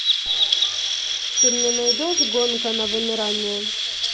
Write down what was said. ты мне найдешь гонка на вымирание